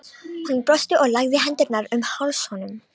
Hún brosti og lagði hendurnar um háls honum.